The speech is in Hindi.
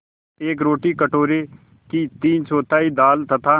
एक रोटी कटोरे की तीनचौथाई दाल तथा